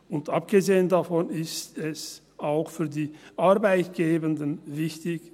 Und abgesehen davon ist es auch für die Arbeitgebenden wichtig.